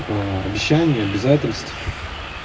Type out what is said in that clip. обещание обязательств